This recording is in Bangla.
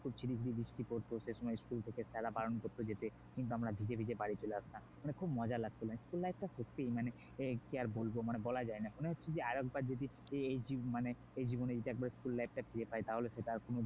ঝিরঝির বৃষ্টি পড়তো সেসময় school থেকে স্যারেরা বারণ করত যেতে কিন্তু আমরা ভিজে ভিজে বাড়ী চলে মানে খুব মজা লাগতো school life টা সত্যিই মানে এই কি আর বলবো মানে বলা যায়না মানে হচ্ছে যে আরেকবার যদি এই দিন মানে এই জীবনে যদি একবার school life টা ফিরে পাই তাহলে সেটা